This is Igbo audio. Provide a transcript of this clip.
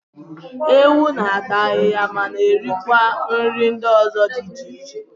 Ewu na-ata ahịhịa mana erikwa nri ndị ọzọ dị iche iche.